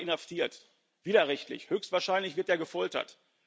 1. Oktober inhaftiert widerrechtlich höchstwahrscheinlich wird er gefoltert.